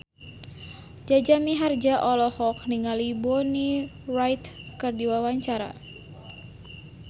Jaja Mihardja olohok ningali Bonnie Wright keur diwawancara